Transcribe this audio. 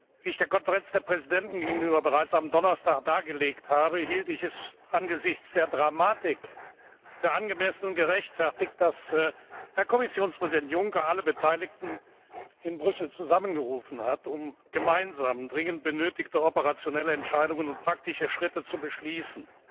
Wie ich der Konferenz der Präsidenten gegenüber bereits am Donnerstag dargelegt habe, hielt ich es angesichts der Dramatik für angemessen und gerechtfertigt, dass Herr Kommissionspräsident Juncker alle Beteiligten in Brüssel zusammengerufen hat, um gemeinsam dringend benötigte operationelle Entscheidungen zu treffen und praktische Schritte zu beschließen.